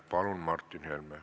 Palun!